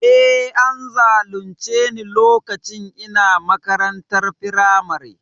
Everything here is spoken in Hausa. E, an zalunce ni lokacin ina makarantar firamare.